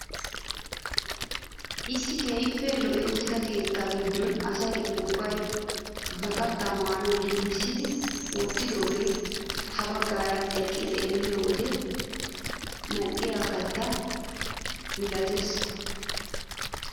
Issi keehippe lo"i uttida keettaa giddon asa ubbay ba kattaa maanawu giigissidi wottidoogee ha baggaara eqqidi xeelliyoo wode mal"iyaa katta milatees.